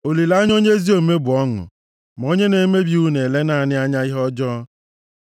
Olileanya onye ezi omume bụ ọṅụ, ma onye na-emebi iwu na-ele naanị anya ihe ọjọọ.